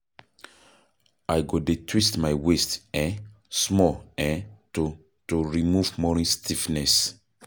I go dey twist my waist um small um to to remove morning stiffness.